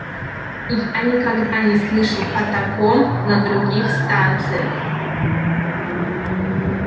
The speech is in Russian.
я никогда не слышал о таком на других станциях